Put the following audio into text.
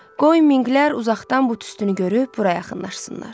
Qoy minqlər uzaqdan bu tüstünü görüb bura yaxınlaşsınlar.